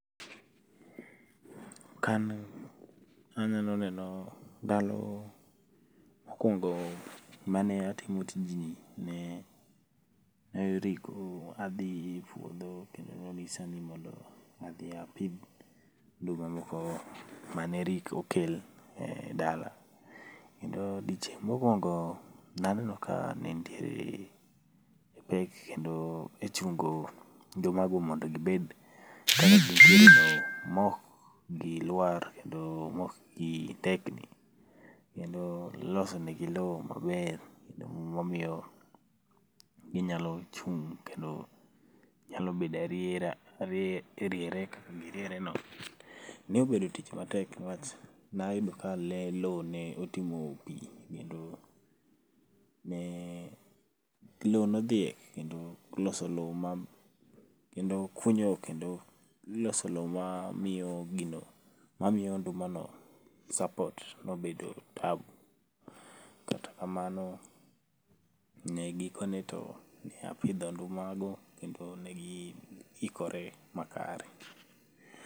Kanyo anyalo neno ndalo mokuongo mane atimo tijni ne adhi puodho kendo nonyisa ni adhi apidh nduma moko mane okel e dala kendo odiochieng mokuongo naneno ka nitiere pek kendo e chungo nduma go mondo gier maok gilwar kendo maok gi tetni, kendo losonegi loo maber mamiyo ginyalo chung kendo nyalo bedo ni giriere no nobedo tich matek niwach nayudo ka loo notimo pii kendo loo nodhiek kendo loso loo ma, kendo kunyo keno loso loo mamiyo gino, mamiyo ndumano support nobedo tab kata kamano ne gikone apidho ndumago kendo ne giikore makare